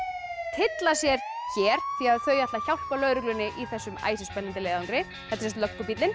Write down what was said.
tylla sér hér því þau ætla að hjálpa lögreglunni í þessum æsispennandi leiðangri þetta er